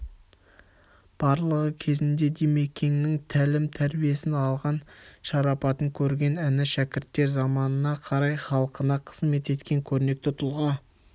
барлығы кезінде димекеңнің тәлім-тәрбиесін алған шарапатын көрген іні-шәкірттер заманына қарай халқына қызмет еткен көрнекті тұлға